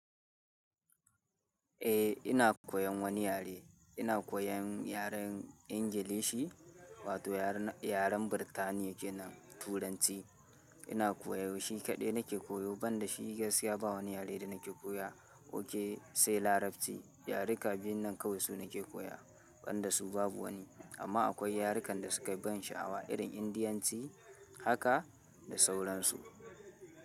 Eh ina koyan wani yare, ina koyan yaren Ingilishi wato yaren, yaren Birtaniya kenan Turanci ina koyo, shi kaɗai nake koyo, ban da shi gaskiya ba wani yare da nake koya, ok sai Larabci. Yaruka biyun nan kawai su nake koya. Ban da su babu wani, amma akwai yarukan da suke ban sha'awa irin Indiyanci haka. Da sauran su.